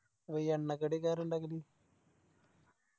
അപ്പോയി എണ്ണക്കടിയൊക്കെ ആരാ ഇണ്ടാക്കല്